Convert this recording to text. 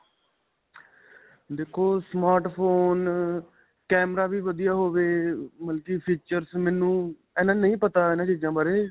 ਦੇਖੋ smart phone ਅਅ, camera ਵੀ ਵਧੀਆ ਹੋਵੇ ਮਤਲਬ ਕੀ features ਮੈਨੂੰ ਇੰਨਾ ਨਹੀ ਪੱਤਾ ਇਨ੍ਹਾਂ ਚੀਜਾਂ ਬਾਰੇ.